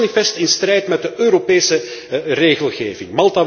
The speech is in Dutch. Dit is manifest in strijd met de Europese regelgeving.